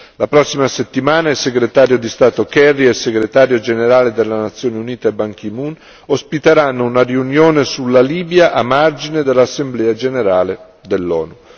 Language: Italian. La prossima settimana, il segretario di Stato Kerry e il Segretario generale delle Nazioni Unite Ban Ki moon ospiteranno una riunione sulla Libia a margine dell'Assemblea generale dell'ONU.